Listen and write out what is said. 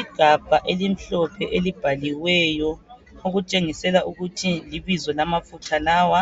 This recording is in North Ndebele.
Igabha elimhlophe elibhaliweyo okutshengisela ukuthi libizo lamafutha lawa,